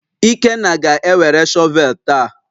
Ikenna ga-ewere shọvel taa